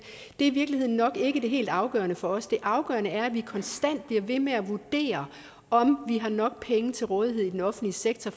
i virkeligheden nok ikke det helt afgørende for os det afgørende er at vi konstant bliver ved med at vurdere om vi har nok penge til rådighed i den offentlige sektor